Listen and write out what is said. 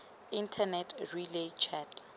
internet relay chat